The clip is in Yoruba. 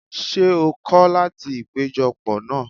Ṣé o kọ́ láti ìpéjọ pọ̀ náà?